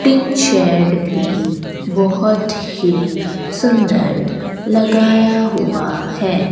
Tin shed भी बहोत ही सुंदर लगाया हुआ है।